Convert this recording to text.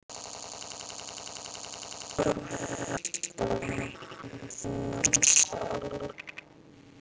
Honum þótti alltaf vænt um þennan stól.